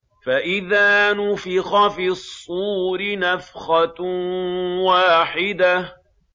فَإِذَا نُفِخَ فِي الصُّورِ نَفْخَةٌ وَاحِدَةٌ